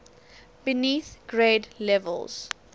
beneath grade levels